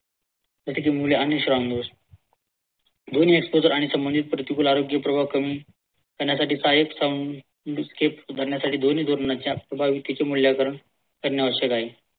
तिचे मूल्य आणि ध्वनी exposure आणि संबंधित प्रतिकूल आरोग्य प्रभाव कमी करण्यासाठी सहायक संघ धरण्यासाठी ध्वनी ध्वनीच्या स्वभावी तिचे मूलांकारण करणे आवश्यक आहे.